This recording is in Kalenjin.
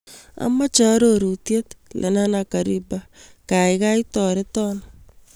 Amoche arorutiet lenana Kariba gaigai toreton